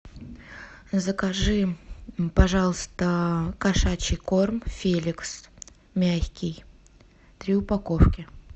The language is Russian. закажи пожалуйста кошачий корм феликс мягкий три упаковки